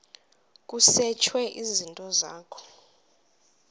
kusetshwe izinto zakho